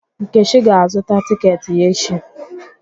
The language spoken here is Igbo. Nkechi ga-azụtạ tịketị ya echi.